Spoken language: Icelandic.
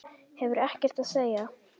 Hefur ekkert að segja.